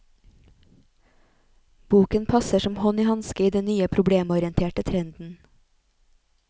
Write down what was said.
Boken passer som hånd i hanske i den nye problemorienterte trenden.